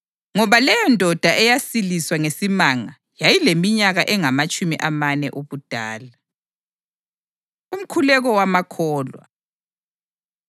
Ngoba leyondoda eyasiliswa ngesimanga yayileminyaka engamatshumi amane ubudala. Umkhuleko Wamakholwa